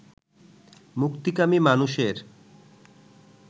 মুক্তিকামী মানুষের